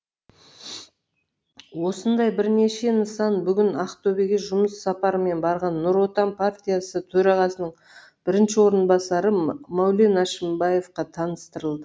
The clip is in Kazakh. осындай бірнеше нысан бүгін ақтөбеге жұмыс сапарымен барған нұр отан партиясы төрағасының бірінші орынбасары мәулен әшімбаевқа таныстырылды